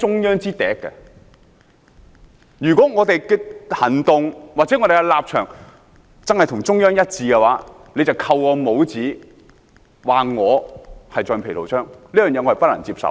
如果我們的行動或立場的確與中央一致，反對派便扣我們帽子，指我們是橡皮圖章，我不能接受。